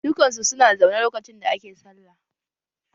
Dukan su su na zaune lokacin da ake sallah